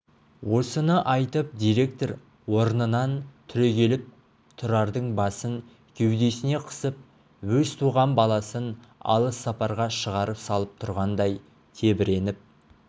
осыны айтып директор орнынан түрегеліп тұрардың басын кеудесіне қысып өз туған баласын алыс сапарға шығарып салып тұрғандай тебіреніп